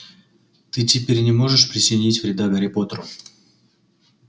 ты теперь не можешь причинить вреда гарри поттеру